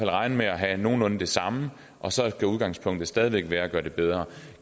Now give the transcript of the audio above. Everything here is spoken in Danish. regne med at have nogenlunde det samme og så kan udgangspunktet stadig væk være at gøre det bedre